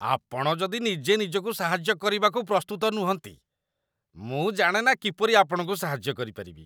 ଆପଣ ଯଦି ନିଜେ ନିଜକୁ ସାହାଯ୍ୟ କରିବାକୁ ପ୍ରସ୍ତୁତ ନୁହଁନ୍ତି, ମୁଁ ଜାଣେନା କିପରି ଆପଣଙ୍କୁ ସାହାଯ୍ୟ କରିପାରିବି।